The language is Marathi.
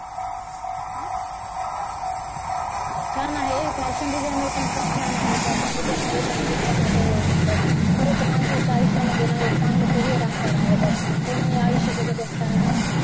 छान आहे fashion designer पण खूप छान आहे fashion designer मध्ये पण खूप छान carrier होऊ शकतं. खरंच माणसाच्या आयुष्यामध्ये ना एक चांगलं carrier असायला हव बघ कोणीही आयुष्य जगत असताना ना